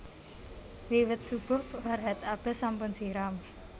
Wiwit subuh Farhat Abbas sampun siram